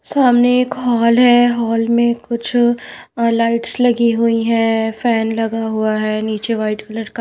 सामने एक हाल है हाल में कुछ अ लाइट्स लगी हुई हैं फैन लगा हुआ है नीचे वाइट कलर का --